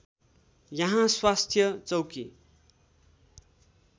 यहाँ स्वास्थ्य चौकी